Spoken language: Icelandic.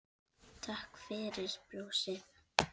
Takk fyrir brosið.